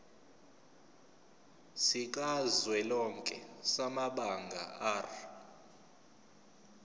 sikazwelonke samabanga r